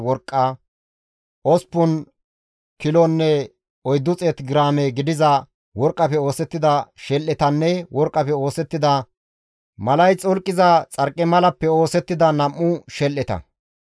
Osppun kilonne 400 giraame gidiza worqqafe oosettida shel7etanne worqqafe oosettida malay xolqiza xarqimalappe oosettida 2 shel7eta.